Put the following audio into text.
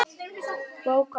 Bók Ágústs er afrek.